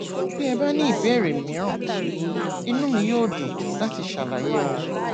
bí ẹ bá ní ìbéèrè mìíràn inú mi yóò dùn láti ṣàlàyé wọn